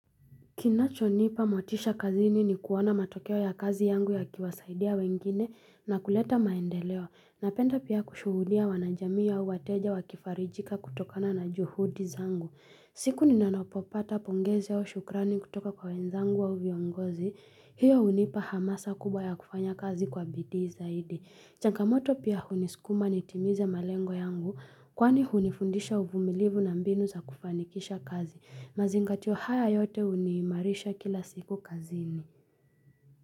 Kinachonipa motisha kazini ni kuona matokeo ya kazi yangu yakiwasaidia wengine na kuleta maendeleo. Napenda pia kushuhudia wanajamii au wateja wakifarijika kutokana na juhudi zangu. Siku ninapopata pongezi au shukrani kutoka kwa wenzangu au viongozi, hiyo hunipa hamasa kubwa ya kufanya kazi kwa bidii zaidi. Changamoto pia hunisukuma nitimize malengo yangu, kwani hunifundisha uvumilivu na mbinu za kufanikisha kazi. Mazingatio haya yote huniimarisha kila siku kazini.